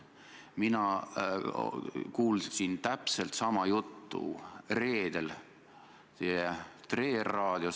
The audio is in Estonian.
Ja mis puudutab peaministri töö kritiseerimist, siis ma usun, et te olete sellega tänaseks juba harjunud.